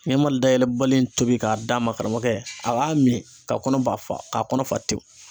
Ɲama dayɛlɛbali in tobi k'a d'a ma karamɔgɔkɛ, a b'a min ka kɔnɔ ba fa k'a kɔnɔ fa tewu .